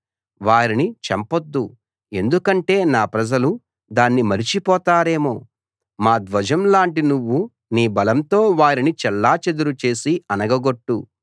వారిని చంపొద్దు ఎందుకంటే నా ప్రజలు దాన్ని మరచిపోతారేమో మా ధ్వజం లాంటి నువ్వు నీ బలంతో వారిని చెల్లాచెదరు చేసి అణగ గొట్టు